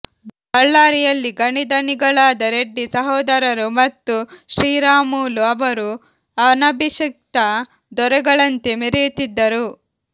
ಬಳ್ಳಾರಿಯಲ್ಲಿ ಗಣಿಧಣಿಗಳಾದ ರೆಡ್ಡಿ ಸಹೋದರರು ಮತ್ತು ಶ್ರೀರಾಮುಲು ಅವರು ಅನಭಿಷಿಕ್ತ ದೊರೆಗಳಂತೆ ಮೆರೆಯುತ್ತಿದ್ದರು